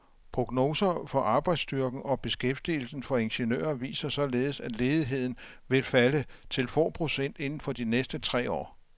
Prognoser for arbejdsstyrken og beskæftigelsen for ingeniører viser således, at ledigheden vil falde til få procent inden for de næste tre år.